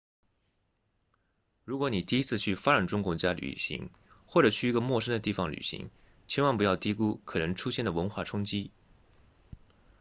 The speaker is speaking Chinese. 如果你第一次去发展中国家旅行或者去一个陌生的地方旅行千万不要低估可能出现的文化冲击